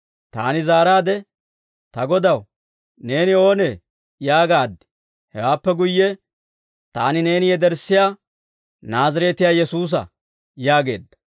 «Taani zaaraade, ‹Ta Godaw, neeni oonee?› yaagaad. «Hewaappe guyye, ‹Taani neeni yederssiyaa Naazireetiyaa Yesuusa› yaageedda.